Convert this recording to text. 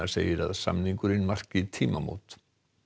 segir að samningurinn marki tímamót